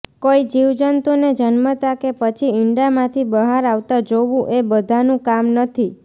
કોઈ જીવંજતુને જન્મતા કે પછી ઈંડામાંથી બહાર આવતા જોવું એ બધાનું કામ નથી